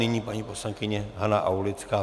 Nyní paní poslankyně Hana Aulická.